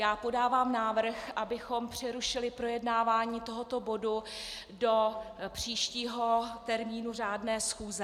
Já podávám návrh, abychom přerušili projednávání tohoto bodu do příštího termínu řádné schůze.